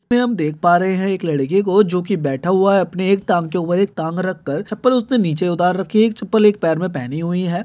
है जो काम के ऊपर बैठा हुआ तो हम साथ में पहुंॅच।